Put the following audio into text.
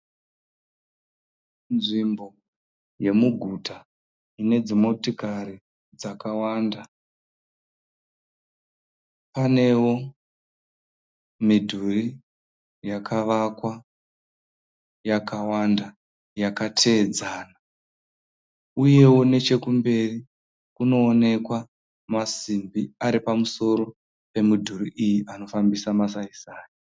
Nzvimbo yemuguta ine dzimotikari dzakawanda. Panewo midhuri yakavakwa yakawanda yakateedzana uyewo nechekumberi kuoonekwa masimbi aripamusoro pemidhuri iyi nofambisa masaisai.